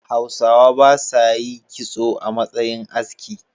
Hausawa ba sa yi kitso a matsayin aski.